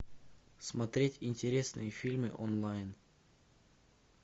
смотреть интересные фильмы онлайн